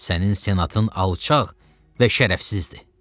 Sənin senatın alçaq və şərəfsizdir.